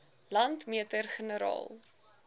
landmeter generaal